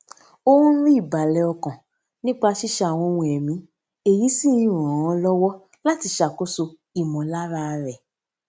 ó ń rí ìbàlè ọkàn nípa ṣíṣe àwọn ohun ẹmí èyí sì ń ràn án lówó láti ṣàkóso ìmòlára rè